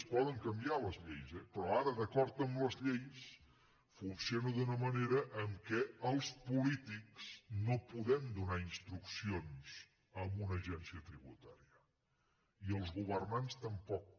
es poden canviar les lleis eh però ara d’acord amb les lleis funciona d’una manera en què els polítics no podem donar instruccions a una agència tributària i els governants tampoc